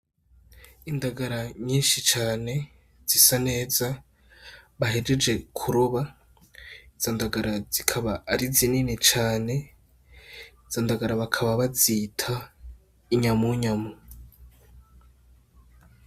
Indagara nyinshi cane zisa neza bahejeje kuroba, izo ndagara zikaba ari zinini cane izo ndagara bakaba bazita inyamunyamu.